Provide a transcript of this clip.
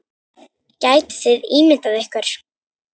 Gætuð þið ímyndað ykkur.